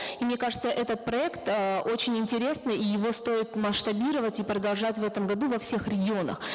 и мне кажется этот проект э очень интересный и его стоит масштабировать и продолжать в этом году во всех регионах